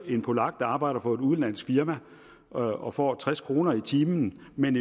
en polak arbejder for et udenlandsk firma og og får tres kroner i timen mens